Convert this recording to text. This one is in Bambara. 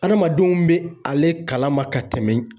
Adamadenw be ale kalama ka tɛmɛ